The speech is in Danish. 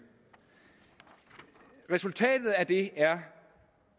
resultatet af det er